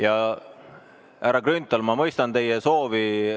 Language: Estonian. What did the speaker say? Jaa, härra Grünthal, ma mõistan teie soovi.